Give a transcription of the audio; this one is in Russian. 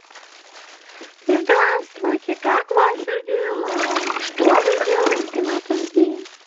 здравствуйте как ваши дела что вы делаете в этот день